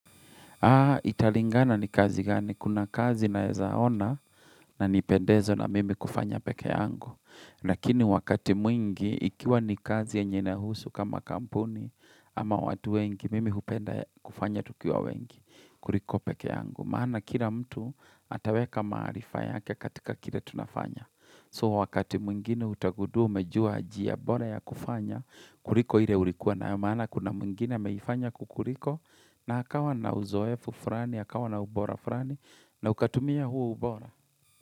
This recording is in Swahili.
Ha italingana ni kazi gani. Kuna kazi nawezaona na nipendezo na mimi kufanya pekee yangu. Lakini wakati mwingi ikiwa ni kazi yenye inahusu kama kampuni ama watu wengi mimi hupenda kufanya tukiwa wengi kuliko pekee yangu. Maana kila mtu ataweka maarifa yake katika kila tunafanya. So wakati mwingine utagudua, umejua njia bora ya kufanya, kuliko hile ulikuwa na maana, kuna mwigine ya ameifanya kukuliko, na akawa na uzoefu furani, akawa na ubora furani, na ukatumia huu ubora.